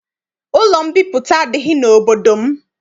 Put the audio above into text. Ụlọ mbipụta adịghị n'obodo m.